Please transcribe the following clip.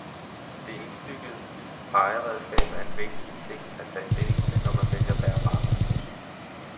Det indbyggede pegeredskab er en væsentlig ting at tage stilling til, når man vælger bærbar PC.